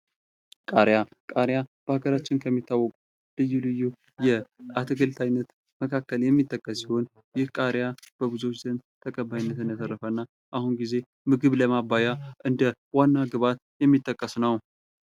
ቃሪያ ቃሪያ በአገራችን ከሚታወቁት ልዩ ልዪ የአትክልት አይነት የሚጠቀስ ሲሆን ይህ ቃሪያ በብዙዎች ዘንድ ተቀባይነትን ያተረፈ እና በአሁኑ ጊዜ ምግብ ለማባያ እንደ ዋና ግብዓት የሚጠቀስ ነው።